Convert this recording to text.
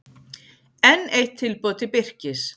Enn eitt tilboð til Birkis